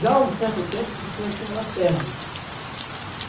Já há um certo tempo a gente já tinha laterna.